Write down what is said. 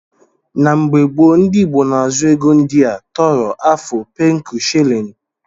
Na mgbe gbo ndi igbo na azu ego ndia; tọrọ, afu, pencu, shillin.